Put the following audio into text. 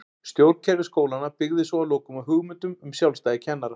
Stjórnkerfi skólanna byggði svo að lokum á hugmyndum um sjálfstæði kennara.